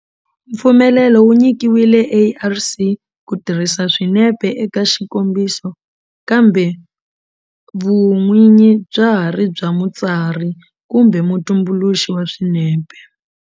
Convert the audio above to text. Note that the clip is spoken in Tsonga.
Mpfumelelo wu nyikiwile ARC ku tirhisa swinepe eka xikombiso kambe vun'winyi bya ha ri bya mutsari kumbe mutumbuluxi wa swinepe.